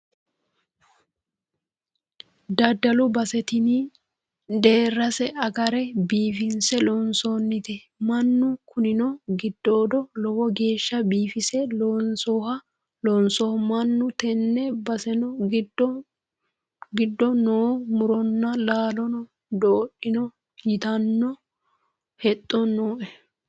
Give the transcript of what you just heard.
Daddalu base tini deerase agare biifinse loonsonnite minu kunino giddoodo lowo geeshsha biifinse loonsoniho mannu tene baseno giddo no muronna laalono dodhano ytano hexxo nooe.